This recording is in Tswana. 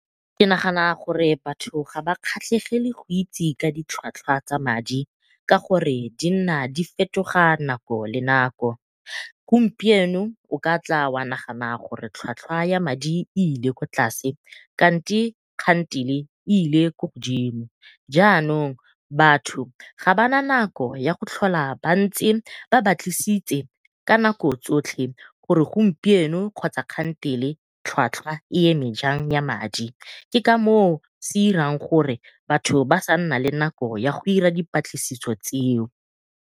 Ke nagana gore batho ga ba kgatlhegele go itse ka ditlhwatlhwa tsa madi, ka gore di nna di fetoga nako le nako. Gompieno o ka tla wa nagana gore tlhwatlhwa ya madi e ile kwa tlase kante kgantele e ile ko godimo, jaanong batho ga bana nako ya go tlhola ba ntse ba batlisitse ka nako tsotlhe gore gompieno kgotsa kgantele tlhwatlhwa e eme jang ya madi ke ka moo se irang gore batho sa nna le nako ya go ira dipatlisiso tseo.